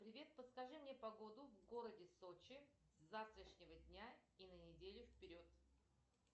привет подскажи мне погоду в городе сочи с завтрашнего дня и на неделю вперед